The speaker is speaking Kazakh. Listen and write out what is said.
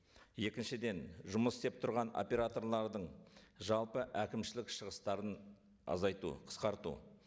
екіншіден жұмыс істеп тұрған операторлардың жалпы әкімшілік шығыстарын азайту қысқарту